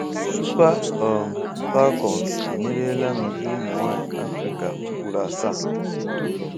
Super um Falcons emeriela n'ụdị ụmụ nwanyị Afrịka ugboro asaa.